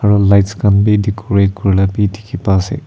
aru lights khan bi decorate kuri labi dikhi pa ase.